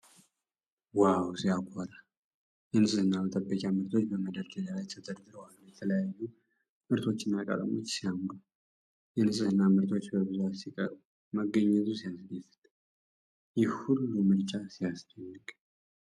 ዋው ሲያኮራ! የንፅህና መጠበቂያ ምርቶች በመደርደሪያ ላይ ተደርድረው አሉ። የተለያዩ ምርቶችና ቀለሞች ሲያምሩ! የንፅህና ምርቶች በብዛት ሲቀርቡ መገኘቱ ሲያስደስት! ይህ ሁሉ ምርጫ ሲያስደንቅ!